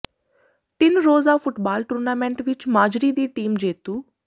ਤਿੰਨ ਰੋਜ਼ਾ football tournament ਵਿੱਚ ਮਾਜਰੀ ਦੀ ਟੀਮ ਜੇਤੂ